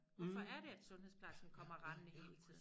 Hvorfor er det at sundhedsplejersken kommer rendende hele tiden